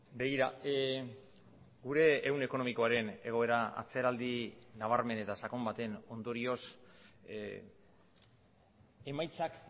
begira gure ehun ekonomikoaren egoera atzeraldi nabarmen eta sakon baten ondorioz emaitzak